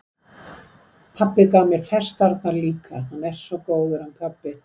Pabbi gaf mér festarnar líka, hann er svo góður, hann pabbi.